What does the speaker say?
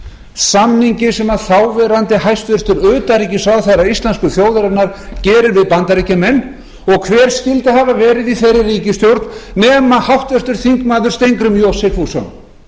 samningi sem þáv hæstvirts utanríkisráðherra íslensku þjóðarinnar gerir við bandaríkjamenn og hver skyldi hafa verið í þeirri ríkisstjórn nema háttvirtur þingmaður steingrímur j sigfússon